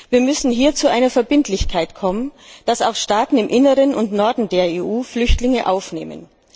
Wir müssen hier zu einer Verbindlichkeit kommen, dass Staaten auch im Inneren und im Norden der EU Flüchtlinge aufnehmen.